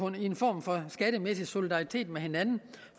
en form for skattemæssig solidaritet